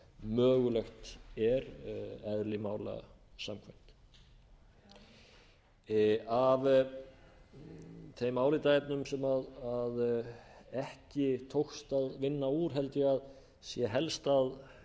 mögulegt er eðli mála samkvæmt af þeim álitaefnum sem ekki tókst að vinna úr held ég að sé helst að